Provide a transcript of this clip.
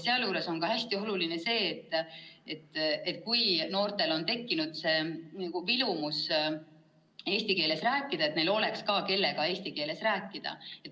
Seejuures on hästi oluline, et kui noortel on tekkinud vilumus eesti keeles rääkida, siis oleks neil ka keegi, kellega eesti keeles rääkida.